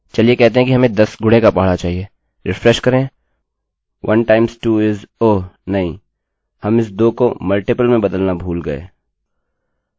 Refresh करें 1 times 2 is oh! नहीं हम इस 2 को गुणजmultiple में बदलना भूल गये